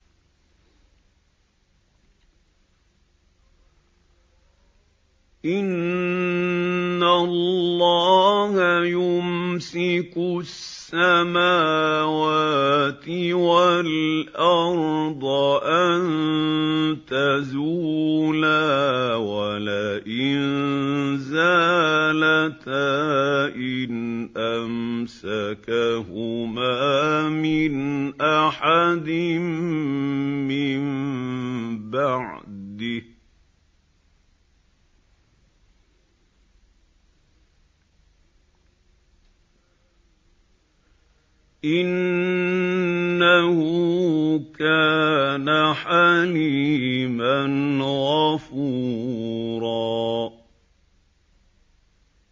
۞ إِنَّ اللَّهَ يُمْسِكُ السَّمَاوَاتِ وَالْأَرْضَ أَن تَزُولَا ۚ وَلَئِن زَالَتَا إِنْ أَمْسَكَهُمَا مِنْ أَحَدٍ مِّن بَعْدِهِ ۚ إِنَّهُ كَانَ حَلِيمًا غَفُورًا